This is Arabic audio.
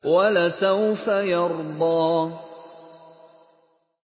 وَلَسَوْفَ يَرْضَىٰ